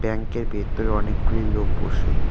ব্যাংকের বেতরে অনেকগুলি লোক বসে।